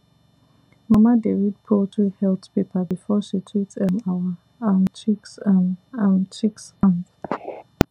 mama dey read poultry health paper before she treat um our um chicks um um chicks um